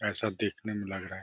ऐसा देखने में लग रहा है।